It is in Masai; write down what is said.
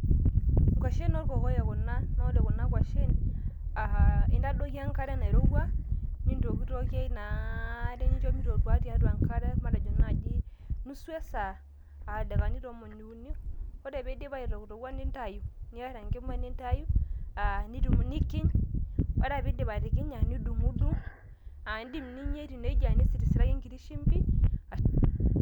nkwashen oorkokoyok kuna naa ore kuna kwashen aa intadoiki enkare nairowua nintokitokie ina are nincho meitotua tiatua enkare matejo naaji nusu esaa aa ildakikani tomoni uni ore piidip aitoktoka nintayu niarr enkima nintayu aa nikiny ore piindip atikinya nidung`dung`indim ninyia etiu nejia nisirisiraki enkiti shimbi.